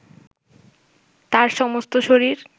তার সমস্ত শরীর